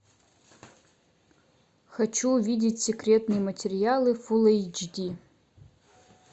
хочу увидеть секретные материалы фул эйч ди